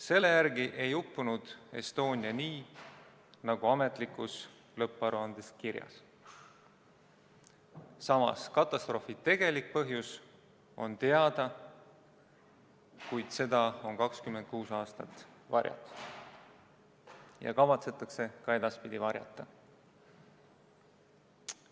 Selle järgi ei uppunud Estonia nii, nagu ametlikus lõpparuandes kirjas, samas katastroofi tegelik põhjus on teada, kuid seda on 26 aastat varjatud ja kavatsetakse ka edaspidi varjata.